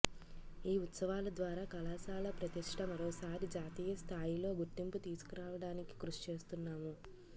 ఈ ఉత్సవాల ద్వారా కళాశాల ప్రతిష్ట మరోసారి జాతీయ స్థాయిలో గుర్తింపు తీసుకురావడానికి కృషి చేస్తున్నాము